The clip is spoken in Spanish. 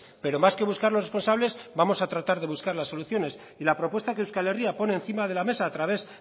pero más que buscar los responsables vamos a tratar de buscar las soluciones y la propuesta que euskal herria pone encima de la mesa a través